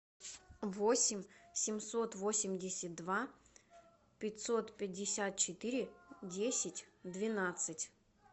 восемь семьсот восемьдесят два пятьсот пятьдесят четыре десять двенадцать